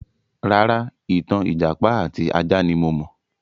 Rárá, ìtàn ìjàpá àti ajá ní mo mọ̀.